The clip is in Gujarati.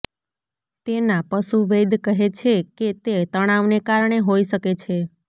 તેના પશુવૈદ કહે છે કે તે તણાવને કારણે હોઇ શકે છે